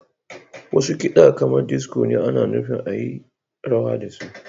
Wasu kiɗa kamar disico ana nufin a yi rawa da su.